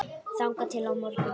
þangað til á morgun?